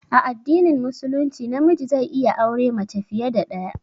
A addinin musulunci na miji zai iya aure mace fiye da ɗaya